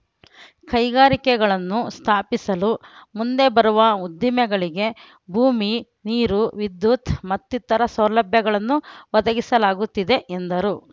ಕೈಗಾರಿಕೆಗಳನ್ನು ಸ್ಥಾಪಿಸಲು ಮುಂದೆ ಬರುವ ಉದ್ದಿಮೆಗಳಿಗೆ ಭೂಮಿ ನೀರು ವಿದ್ಯುತ್ ಮತ್ತಿತರ ಸೌಲಭ್ಯಗಳನ್ನು ಒದಗಿಸಲಾಗುತ್ತಿದೆ ಎಂದರು